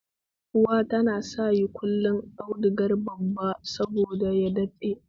Uwa ta sayi dunƙullen auduga babba saboda ya daɗe